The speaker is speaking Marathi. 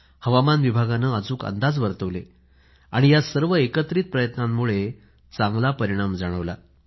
हवामान विभागाने अचूक अंदाज वर्तवले या सर्वांच्या एकत्रित प्रयत्नामुळे चांगला परिणाम जाणवला